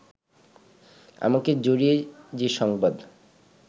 আমাকে জড়িয়ে যে সংবাদ